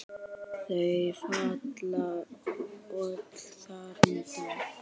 Þau falla öll þar undir.